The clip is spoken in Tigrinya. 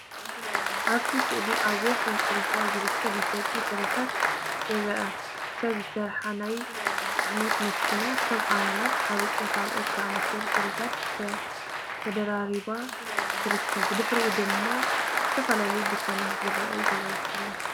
ኣብቲ ስእሊ ኣብ ወሰን ጽርግያ ዝርከብ መሸጢ ፍረታት ይርአ። ሰብ ዝሰርሓ ናይ ጽዕነት መኪና ከም ኣናናስ፡ ሓርጭን ካልኦትን ዝኣመሰሉ ፍሩታታት ተደራሪባ ትርከብ። ብድሕሪኡ ድማ ዝተፈላለዩ ድኳናትን ዝረኣዩ ገዛውትን ኣለዉ።